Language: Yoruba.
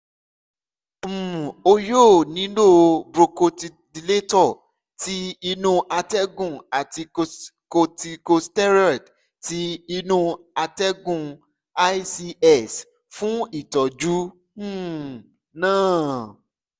um o yoo nilo bronchodilator ti inu atẹgun ati corticosteroids ti inu atẹgun (ics) fun itọju um naa